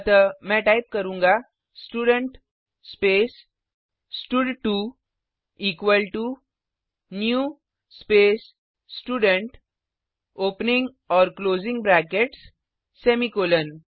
अतः मैं टाइप करूँगा student space stud two equal to new space student opening और क्लोजिंग ब्रैकेट्स सेमीकॉलन